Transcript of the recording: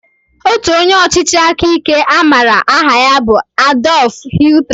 Otu onye ọchịchị aka ike a maara aha ya bụ Adolf Hitler